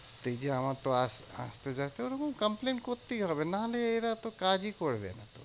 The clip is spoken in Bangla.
এই যে আমার তো আস~ আসতে যেতে ওরকম complain করতেই হবে, নাহলে এরা তো কাজই করবে না।